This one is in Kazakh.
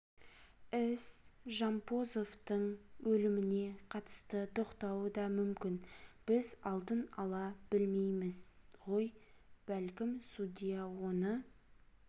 іс жампозовтың өліміне қатысты тоқтауы да мүмкін біз алдын ала білмейміз ғой бәлкім судья оны